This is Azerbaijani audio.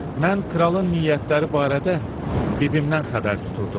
Mən kralın niyyətləri barədə bibimdən xəbər tuturdum.